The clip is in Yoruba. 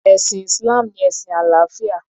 Ẹ̀sìn Islam ni ẹ̀sìn àlàáfíà.